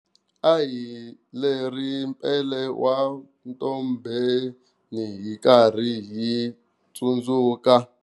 A hi leri Mpile wa Mtombeni hi karhi hi tsundzuka.